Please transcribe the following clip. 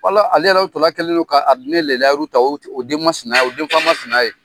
Ala ale yɛrɛ Alahu tala kɛlen don ka lahiru ta a den masina, a den fa masina ye.